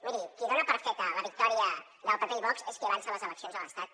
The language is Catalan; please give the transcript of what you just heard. miri qui dona per feta la victòria del pp i vox és qui avança les eleccions a l’estat